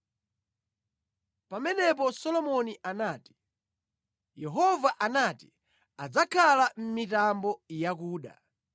Pamenepo Solomoni anati, “Yehova anati adzakhala mʼmitambo yakuda;